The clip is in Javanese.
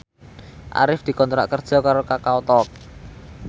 Arif dikontrak kerja karo Kakao Talk